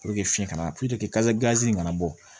fiɲɛ kana kasa gazi in kana bɔ